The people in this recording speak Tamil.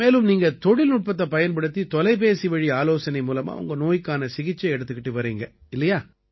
மேலும் நீங்க தொழில்நுட்பத்தைப் பயன்படுத்தி தொலைபேசிவழி ஆலோசனை மூலமா உங்க நோய்க்கான சிகிச்சை எடுத்துக்கிட்டு வர்றீங்க இல்லையா